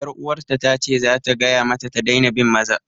'Yaruwarta ta ce za ta gaya mata ta daina bin maza.